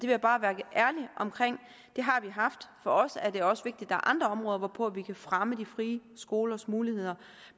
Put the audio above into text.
jeg bare være ærlig omkring det har vi haft for os er det også vigtigt er andre områder hvorpå vi kan fremme de frie skolers muligheder